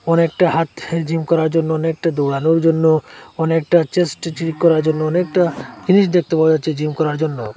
অনেকটা হাত জিম করার জন্য অনেকটা দৌড়ানোর জন্য অনেকটা চেস্ট স্ট্রেচ করার জন্য অনেকটা ফিনিশ দেখতে পাওয়া যাচ্ছে জিম করার জন্য।